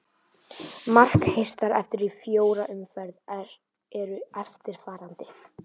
Markahæstar eftir í fjórar umferð eru eftirfarandi: